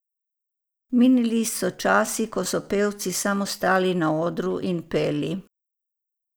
Minili so časi, ko so pevci samo stali na odru in peli.